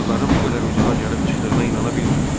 Fransızların bu qədər uzağa gəlib çıxdığına inana bilmirəm.